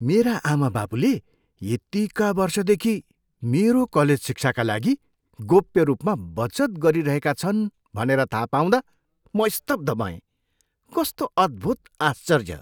मेरा आमाबाबुले यतिका वर्षदेखि मेरो कलेज शिक्षाका लागि गोप्य रूपमा बचत गरिरहेका छन् भनेर थाहा पाउँदा म स्तब्ध भएँ। कस्तो अद्भुत आश्चर्य!